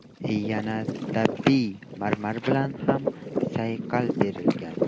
Yana tabiiy marmar bilan ham sayqal berilgan.